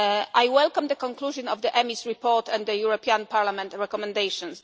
good. I welcome the conclusion of the EMIS report and the European Parliament recommendations.